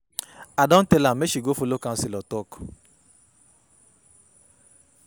I don tell am make she go folo counselor talk.